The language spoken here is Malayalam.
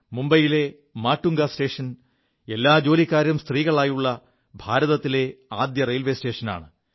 മുംബൈയിലെ മാുംഗാ സ്റ്റേഷൻ എല്ലാ ജോലിക്കാരും സ്ത്രീകളായുള്ള ഭാരതത്തിലെ ആദ്യത്തെ സ്റ്റേഷനാണ്